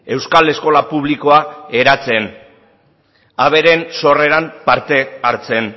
euskal eskola publikoak eratzen haberen sorreran parte hartzen